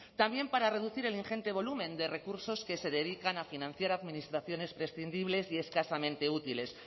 también para reducir el ingente volumen de recursos que se dedican a financiar administraciones prescindibles y escasamente útiles